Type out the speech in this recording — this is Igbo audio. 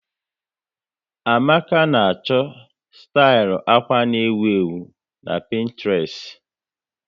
Amaka na a chọta stil akwa nọ n'ewu na Pinetrest